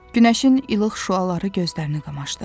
Günəşin ilıq şüaları gözlərini qamaşdırdı.